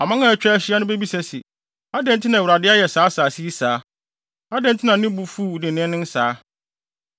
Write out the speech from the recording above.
Aman a atwa ahyia no bebisa se, “Adɛn nti na Awurade ayɛ saa asase yi saa? Adɛn nti na ne bo fu dennen saa?”